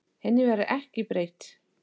Henni verður ekki breytt.